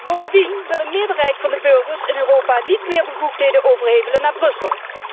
Bovendien wil een meerderheid van de burgers in Europa niet meer bevoegdheden overhevelen naar Brussel.